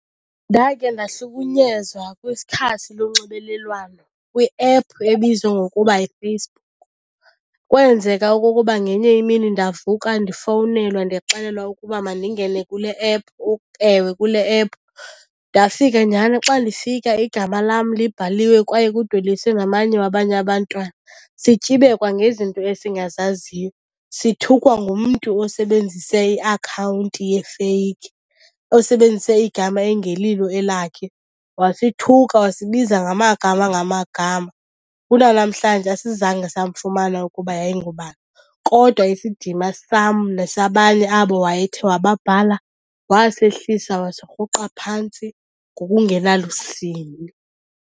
Ndakhe ndahlukunyezwa kwikhasi lonxibelelwano kwiephu ebizwa ngokuba yiFacebook. Kwenzeka okokuba ngenye imini ndavuka ndifowunelwa ndixelelwa ukuba mandingene kule ephu . Ewe, kule ephu. Ndafika nyhani xa ndifika igama lam libhaliwe kwaye kudweliswe namanye wabanye abantwana sityibekwa ngezinto esingazaziyo, sithukwa ngumntu osebenzise iakhawunti yefeyikhi osebenzise igama engelilo elakhe. Wasithuka wasibiza ngamagama ngamagama. Kunanamhlanje asizange samfumana ukuba yayingubani, kodwa isidima sam nesabanye abo wayethe wababhala wasehlisa wasirhuqa phantsi ngokungenalusini.